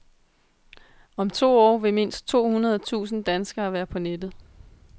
Om to år vil mindst to hundrede tusind danskere være på nettet.